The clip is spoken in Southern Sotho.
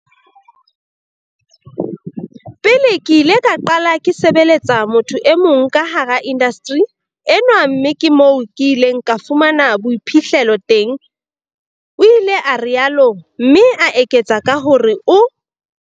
Pele ke ile ka qala ke sebeletsa motho e mong ka hara indasteri enwa mme ke moo ke ileng ka fumana boiphihlelo teng, o ile a rialo, mme a eketsa ka hore o.